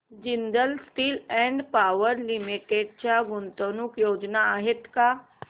Jindal Steel and Power Limited च्या गुंतवणूक योजना आहेत का